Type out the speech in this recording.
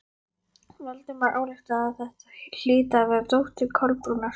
Valdimar ályktaði að þetta hlyti að vera dóttir Kolbrúnar.